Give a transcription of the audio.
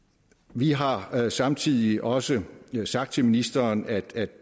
vi har samtidig også sagt til ministeren at